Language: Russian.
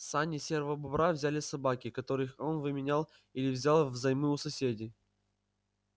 сани серого бобра взяли собаки которых он выменял или взял взаймы у соседей